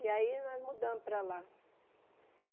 E aí nós mudamos para lá.